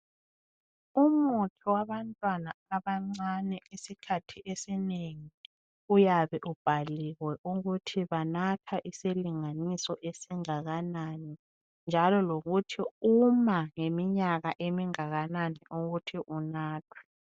Umuthi owabantwana abancane esikhathini esinengi uyabe ubhaliwe ukuthi banatha isilinganiso esingakanani njalo lokuthi uma ngeminyaka engakanani ukuthi unathwe.